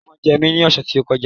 Ẹ̀fọn jẹ mí ní ọ̀sẹ̀ tí ó kọjá